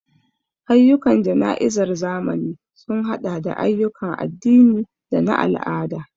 Ayyukan jana'izar zamani sun haɗa da ayyukan addini da na al'ada.